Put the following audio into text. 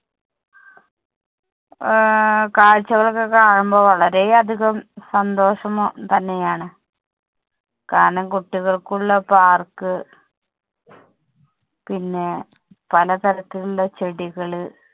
ആഹ് കാഴ്ചകൾ ഒക്കെ കാണുമ്പോൾ വളരെ അധികം സന്തോഷം തന്നെ ആണ്. കാരണം കുട്ടികൾക്ക് ഉള്ള park പിന്നെ പല തരത്തിൽ ഉള്ള ചെടികള്.